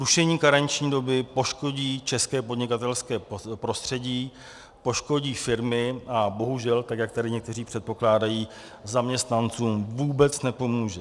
Rušení karenční doby poškodí české podnikatelské prostředí, poškodí firmy a bohužel, tak jak tady někteří předpokládají, zaměstnancům vůbec nepomůže.